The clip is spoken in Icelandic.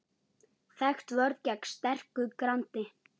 Þekkt vörn gegn sterku grandi.